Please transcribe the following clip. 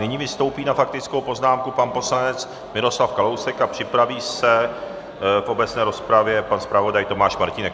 Nyní vystoupí na faktickou poznámku pan poslanec Miroslav Kalousek a připraví se v obecné rozpravě pan zpravodaj Tomáš Martínek.